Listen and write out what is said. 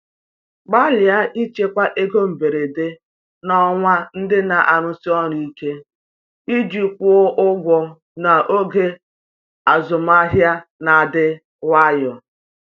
Gbalịa ichekwa ego mberede n’ọnwa ndị na-arụsi ọrụ ike iji kwụọ ụgwọ n’oge azụmahịa na-adị nwayọ.